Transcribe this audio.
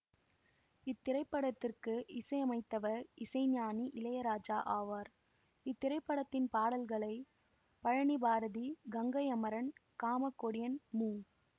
இத்திரைப்படத்திற்கு இசையமைத்தவர் இசைஞானி இளையராஜா ஆவார் இத்திரைப்படத்தின் பாடல்களை பழனிபாரதி கங்கை அமரன் காமக்கொடியன் மு